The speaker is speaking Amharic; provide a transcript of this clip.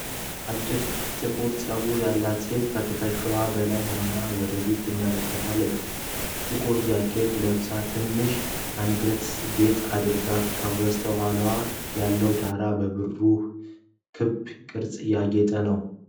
አጭር ጥቁር ፀጉር ያላት ሴት ከትከሻዋ በላይ ሆና ወደፊት ትመለከታለች። ጥቁር ጃኬት ለብሳ ትንሽ አንገት ጌጥ አድርጋለች፤ ከበስተኋላው ያለው ዳራ በብሩህ ክብ ቅርፆች ያጌጠ ነው።